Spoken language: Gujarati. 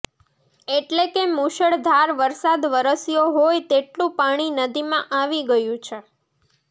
એટલે કે મૂશળધાર વરસાદ વરસ્યો હોય તેટલુ પાણી નદીમાં આવી ગયું છે